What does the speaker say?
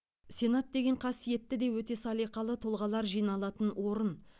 сенат деген қасиетті де өте салиқалы тұлғалар жиналатын орын